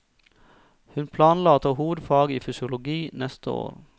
Hun planla å ta hovedfag i fysiologi neste år.